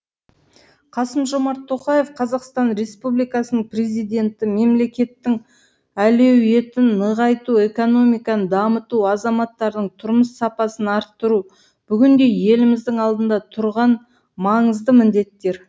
қасым жомарт тоқаев қазақстан республикасының президенті мемлекеттің әлеуетін нығайту экономиканы дамыту азаматтардың тұрмыс сапасын арттыру бүгінде еліміздің алдында тұрған маңызды міндеттер